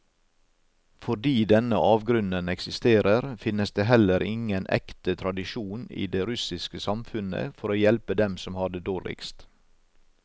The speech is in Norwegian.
Fordi denne avgrunnen eksisterer, finnes det heller ingen ekte tradisjon i det russiske samfunnet for å hjelpe dem som har det dårligst.